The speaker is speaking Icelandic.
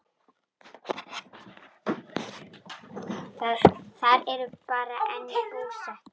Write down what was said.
Þar eru þau enn búsett.